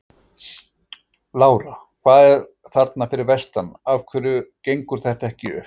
Lára: Hvað er að þarna fyrir vestan, af hverju gengur þetta ekki upp?